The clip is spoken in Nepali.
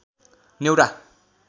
न्‍यौरा